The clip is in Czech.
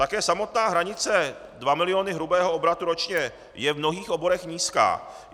Také samotná hranice dva miliony hrubého obratu ročně je v mnohých oborech nízká.